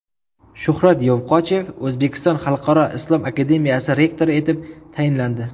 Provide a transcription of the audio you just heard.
Shuhrat Yovqochev O‘zbekiston xalqaro islom akademiyasi rektori etib tayinlandi.